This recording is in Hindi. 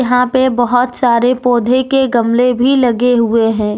यहां पे बहोत सारे पौधे के गमले भी लगे हुए हैं।